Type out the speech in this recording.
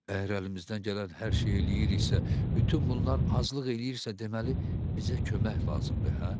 Əgər əlimizdən gələn hər şeyi eləyiriksə, bütün bunlar azlıq eləyirsə, deməli bizə kömək lazımdır, hə?